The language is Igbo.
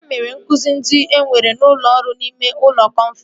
Ha mere nzukọ ndị ewere n'ọrụ n'ime ụlọ kọnfrensị